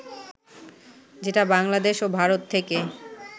যেটা বাংলাদেশ ও ভারত থেকে